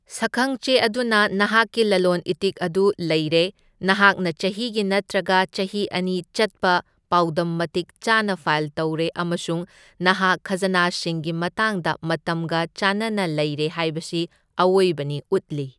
ꯁꯛꯈꯪꯆꯦ ꯑꯗꯨꯅ ꯅꯍꯥꯛꯀꯤ ꯂꯂꯣꯟ ꯏꯇꯤꯛ ꯑꯗꯨ ꯂꯩꯔꯦ, ꯅꯍꯥꯛꯅ ꯆꯍꯤꯒꯤ ꯅꯠꯇ꯭ꯔꯒ ꯆꯍꯤ ꯑꯅꯤ ꯆꯠꯄ ꯄꯥꯎꯗꯝ ꯃꯇꯤꯛ ꯆꯥꯅ ꯐꯥꯏꯜ ꯇꯧꯔꯦ ꯑꯃꯁꯨꯡ ꯅꯍꯥꯛ ꯈꯥꯖꯅꯥꯁꯤꯡꯒꯤ ꯃꯇꯥꯡꯗ ꯃꯇꯝꯒ ꯆꯥꯟꯅꯅ ꯂꯩꯔꯦ ꯍꯥꯏꯕꯁꯤ ꯑꯑꯣꯏꯕꯅꯤ ꯎꯠꯂꯤ꯫